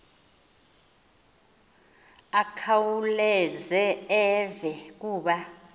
akhawuleze eve kuba